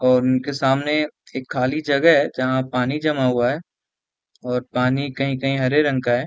और उनके सामने एक खाली जगह है जहाँ पानी जामा हुआ है और पानी कही कही हरे रंग का है ।